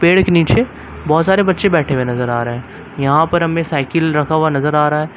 पेड़ के नीचे बहुत सारे बच्चे बैठे हुए नजर आ रहे है यहां पर हमें साइकिल रखा हुआ नजर आ रहा है।